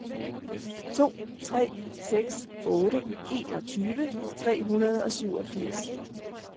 to tre seks otte enogtyve tre hundrede og syvogfirs